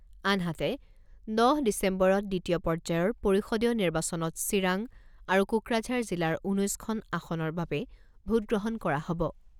আনহাতে, দহ ডিচেম্বৰত দ্বিতীয় পৰ্যায়ৰ পৰিষদীয় নিৰ্বাচনত চিৰাং আৰু কোকৰাঝাৰ জিলাৰ ঊনৈছখন আসনৰ বাবে ভোটগ্ৰহণ কৰা হ'ব।